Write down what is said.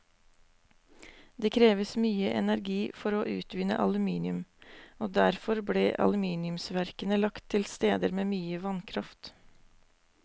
Det kreves mye energi for å utvinne aluminium, og derfor ble aluminiumsverkene lagt til steder med mye vannkraft.